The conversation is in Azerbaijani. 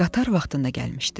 Qatar vaxtında gəlmişdi.